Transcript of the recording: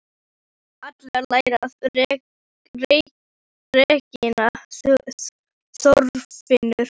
Það verða allir að læra að reikna, Þorfinnur